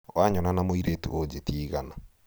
wanyona na mũirĩtu ũnjĩtie igana